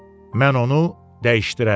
Mən onu dəyişdirərəm.